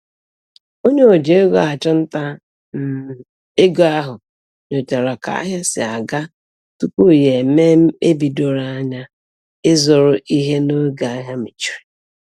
Onye o ji ego achụnta um ego ahụ nyochara ka ahịa si aga tupu ya eme mkpebi doro anya ịzụrụ ihe n'oge ahịa mechiri.